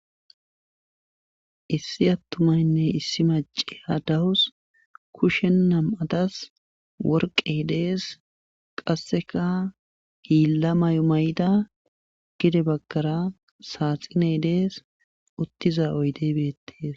Issi atumaynne issi macciya dawus kushen nam'atas worqqe dees. qassekka hiila mayo mayida hini bagara saaxie dees. uttiza oyde betees.